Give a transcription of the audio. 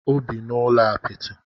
O bi n'ụlọ apịtị.